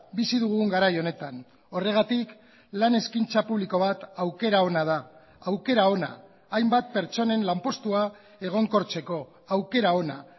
bizi dugun garai honetan horregatik lan eskaintza publiko bat aukera ona da aukera ona hainbat pertsonen lanpostua egonkortzeko aukera ona